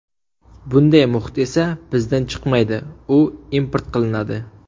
Bunday muhit esa bizdan chiqmaydi, u import qilinadi.